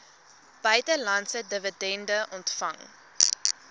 buitelandse dividende ontvang